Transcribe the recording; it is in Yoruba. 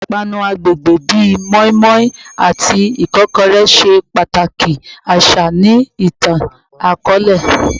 Awọn ipanu agbegbe bi moninmonin ati ikokore ṣe pataki aṣa ni itan-akọọlẹ